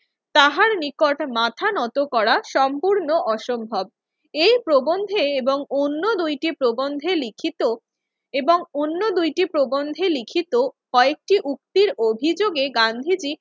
তাহার নিকট মাথা নত করা সম্পূর্ণ অসম্ভব। এই প্রবন্ধে এবং অন্য দুইটি প্রবন্ধে লিখিত এবং অন্য দুইটি প্রবন্ধে লিখিত কয়েকটি উক্তির অভিযোগে গান্ধীজি